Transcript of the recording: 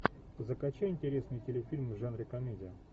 закачай интересный телефильм в жанре комедия